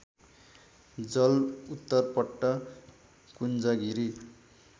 जल उत्तरपट्ट कुञ्जगिरी